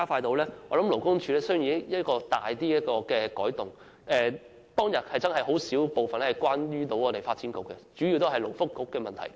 我認為勞工處需要作出一些轉變，因為小組委員會在會議上，對於發展局的討論不多，主要都是勞工及福利局的問題。